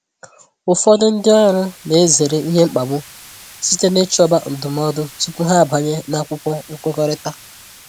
Ụfọdụ ndị ọrụ na-ezere ihe mkpagbu site n'ichọba ndụmọdụ tupu ha abanye n’akwụkwọ nkwekọrịta.